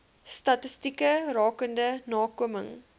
statistieke rakende nakoming